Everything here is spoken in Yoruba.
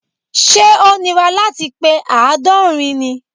Ṣẹ́ ó nira láti pe àádọ́rin ni?